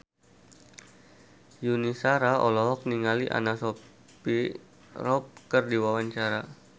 Yuni Shara olohok ningali Anna Sophia Robb keur diwawancara